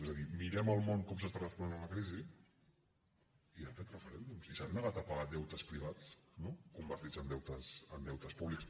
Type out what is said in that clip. és a dir mirem al món com s’està responent a la crisi i han fet referèndums i s’han negat a pagar deutes privats convertits en deutes públics